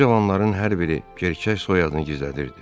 Bu cavanların hər biri gerçək soyadını gizlədirdi.